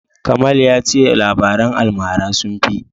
Kamal ya ce labaran almara sun fi.